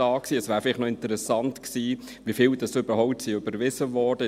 Interessant wäre vielleicht noch, wie viele überhaupt überwiesen wurden.